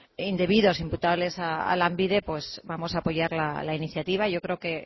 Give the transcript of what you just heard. indebidos imputables a lanbide pues vamos a apoyar la iniciativa y yo creo que